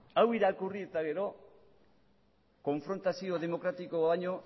hau irakurri eta gero konfrontazio demokratikoa baino